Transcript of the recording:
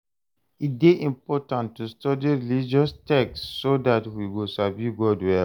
E dey important to study religious texts so that we go sabi God well.